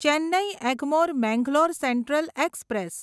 Chennai Egmore Mangalore central express